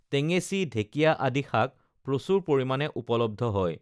টেঙেচী ঢেকীয়া আাদি শাক প্ৰচুৰ পৰিমাণে উপলব্ধ হয়